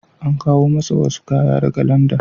An kawo masa wasu kaya daga Landan.